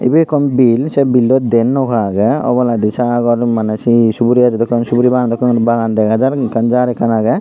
ibey ekkan bil sei billot diyen nouka agey obladi sagor maneh sei suguri gajo dokken suguri bagan dokkey bagan dega jar ekkan jar ekkan agey.